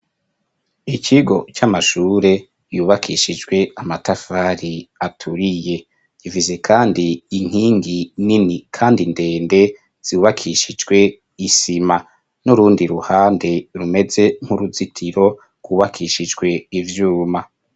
ikigo cy'amashure yubakishijwe amatafari aturiye givize kandi inkingi nini kandi ndende zibakishijwe isima n'urundi ruhande rumeze nk'uruzitiro kubakishijwe ivyuma